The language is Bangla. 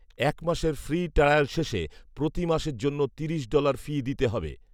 এক মাসের ফ্রি ট্রায়াল শেষে প্রতি মাসের জন্য তিরিশ ডলার ফি দিতে হবে